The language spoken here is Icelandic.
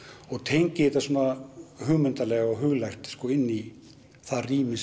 og tengi þetta svona hugmyndalega og huglægt inn í það rými